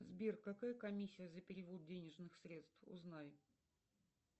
сбер какая комиссия за перевод денежных средств узнай